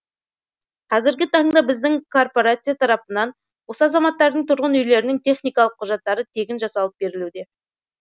қазіргі таңда біздің коорпорация тарапынан осы азаматтардың тұрғын үйлерінің техникалық құжаттары тегін жасалып берілуде